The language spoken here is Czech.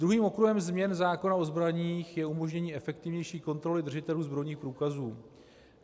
Druhým okruhem změn zákona o zbraní je umožnění efektivnější kontroly držitelů zbrojních průkazů.